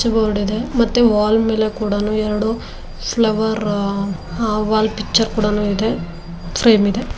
Switch board ಇದೆ ಮತ್ತೆ wall ಮೇಲೆ ಕೂಡ ನು ಎರಡು ಫ್ಲವರ್ ವಾಲ್ ಪಿಕ್ಚರ್ ಕೂಡ ನು ಇದೆ ಫ್ರೇಮ್ ಇದೆ.